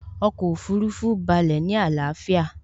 Ọkọ̀ Òfurufú balẹ̀ ní àlàáfíà